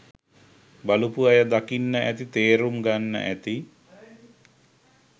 බලපු අය දකින්න ඇති තේරුම් ගන්න ඇති